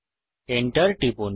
Enter টিপুন